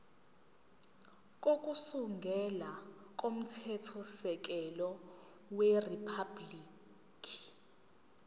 kokusungula komthethosisekelo weriphabhuliki